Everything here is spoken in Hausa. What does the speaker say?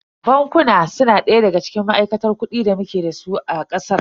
Bankuna su na daya daga cikin ma'aikatar kuɗi da muke dasu a ƙasar.